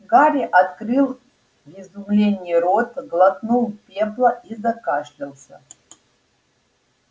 гарри открыл в изумлении рот глотнул пепла и закашлялся